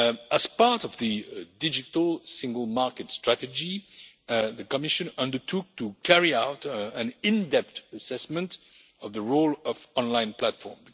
As part of the digital single market strategy, the Commission undertook to carry out an in depth assessment of the role of online platforms.